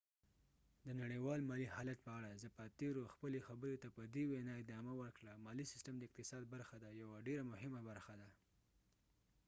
د نړیوال مالی حالت په اړه زپاتیرو خپلی خبری ته په دي وينا ادامه ورکړه : مالی سیستم د اقتصاد برخه ده ، یوه ډیره مهمه برخه